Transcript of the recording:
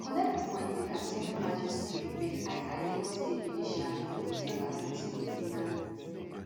she collect appointment as senior magistrate grade ii lagos state judiciary for december 1989